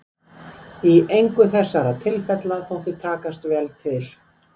Í engu þessara tilfella þótti takast vel til.